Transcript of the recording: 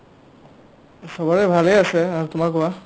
চবৰে ভালে আছে আৰু তোমাৰ কোৱা ?